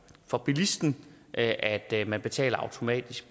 for bilisten at at man betaler automatisk